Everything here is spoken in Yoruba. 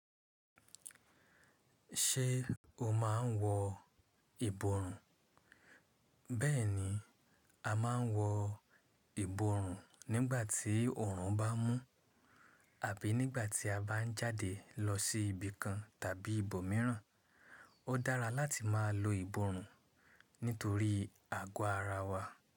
Ṣé o máa n wọ ìborùn? Bẹ́ẹ̀ni, a ma n wọ ìborùn nígbà tí oòrùn bá mú àbí nígbà tí a bá ń jáde lọ sí ibìkan tàbí ibòmíràn. Ó dára láti máa lo ìborùn nítorí àgọ́ ara wa.